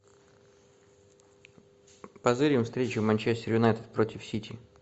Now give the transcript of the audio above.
позырим встречу манчестер юнайтед против сити